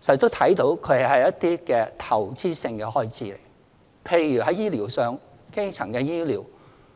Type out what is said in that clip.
時，卻看作是一些投資性的開支，例如，在醫療上的基層醫療。